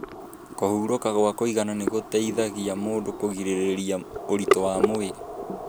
Kũhurũka gwa kũigana nĩ gũteithagia mũndũ kũgirĩrĩria ũritũ wa mwĩrĩ.